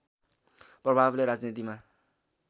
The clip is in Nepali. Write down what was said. प्रभावले राजनीतिमा